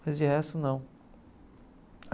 Mas de resto, não.